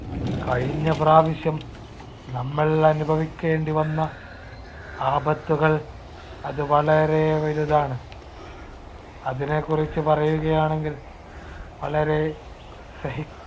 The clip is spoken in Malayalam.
കഴിഞ്ഞ പ്രാവശ്യം നമ്മൾ അനുഭവിക്കേണ്ടി വന്ന ആപത്തുകൾ അത് വളരെ വലുതാണ്. അതിനെക്കുറിച്ച് പറയുകയാണെങ്കിൽ വളരെ സഹി